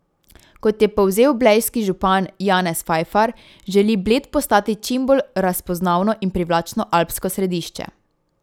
Kot je povzel blejski župan Janez Fajfar, želi Bled postati čim bolj razpoznavno in privlačno alpsko središče.